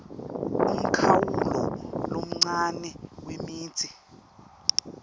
umkhawulo lomncane wemitsi